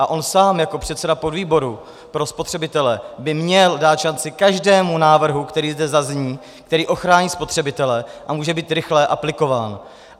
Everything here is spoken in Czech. A on sám jako předseda podvýboru pro spotřebitele by měl dát šanci každému návrhu, který zde zazní, který ochrání spotřebitele a může být rychle aplikován.